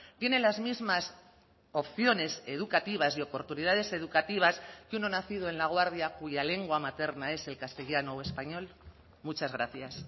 tiene las mismas opciones educativas y oportunidades educativas que uno nacido en laguardia cuya lengua materna es el castellano o español muchas gracias